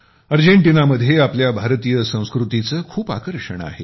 Argentina मध्ये आपल्या भारतीय संस्कृतीचे खूप आकर्षण आहे